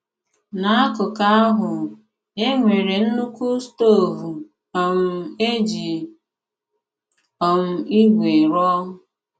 N’ákùkù ahụ, e nwéré nnukwu stóvú um e jí um ígwè rụọ.